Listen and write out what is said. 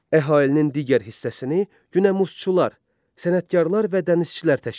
Əhalinin digər hissəsini günəmuzçular, sənətkarlar və dənizçilər təşkil edirdi.